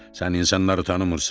Sən insanları tanımırsan.